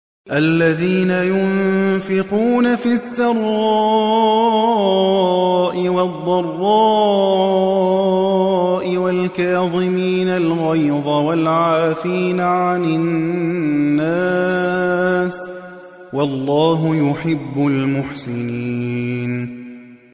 الَّذِينَ يُنفِقُونَ فِي السَّرَّاءِ وَالضَّرَّاءِ وَالْكَاظِمِينَ الْغَيْظَ وَالْعَافِينَ عَنِ النَّاسِ ۗ وَاللَّهُ يُحِبُّ الْمُحْسِنِينَ